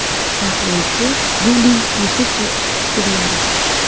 Tahlilchi Yuliy Yusupov fikrlari.